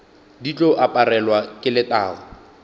di tlo aparelwa ke letago